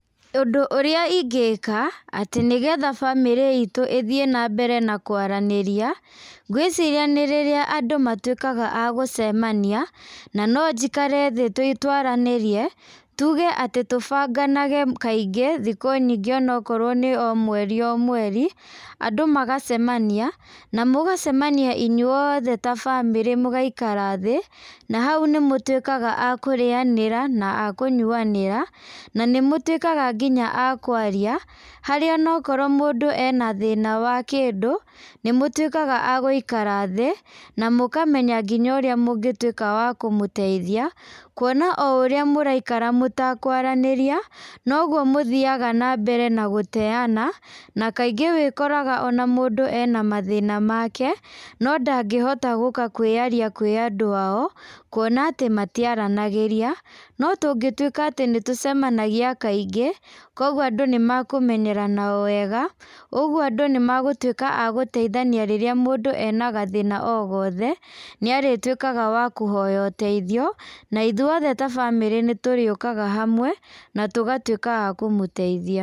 Ũndũ ũrĩa ingĩka, atĩ nĩgetha bamírĩ itũ ĩthiĩ nambere na kwaranĩria, ngwĩciria nĩ rĩrĩa andũ matwĩkaga agũcemania, na nonjikare thĩ twaranĩrie, tuge atĩ tũbanganage kaingĩ, thikũ nyingĩ onokorwo nĩ o mweri o mweri, andũ magacemania, na mũgacemania inyũothe ta bamĩrĩ mũgaikara thĩ, na hau nĩmũtwĩkaga a kũrĩanaĩra na akũnyuanĩra na nĩmũtwĩkaga nginya akwaria, harĩa onokorwo mũndũ ena thĩna wa kĩndũ nĩmũtwĩkaga a gũikara thĩĩ na mũkamenya nginya ũrĩa mũngĩtwĩka wa kũmũteithia, kuona o urĩa mũraikara mũtakwaranĩria, noguo mũthiaga nambere na gũteana, na kaingĩ wĩkoraga ona mũndũ ene mathĩna make, no ndangĩhota gũka kwĩyaria kwĩ andũ ao, kuona atĩ matiaranagĩria, no tũngĩtwĩka atĩ nĩtũcemanagia kaingĩ, koguo andũ nĩmekũmenyerana o wega, ũguo andũ nĩmagũtwĩka a gũteithania rĩrĩa mũndũ ena gathĩna o gothe, nĩarĩtwĩkaga wa kũhoya ũteithio, na ithuothe ta bamĩrĩ nĩtũrĩũkaga hamwe, na tũgatwĩka a kũmũteithia.